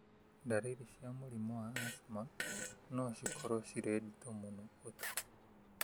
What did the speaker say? Ndariri cia mũrimũ wa asthma no cikorũo cirĩ nditũ mũno ũtukũ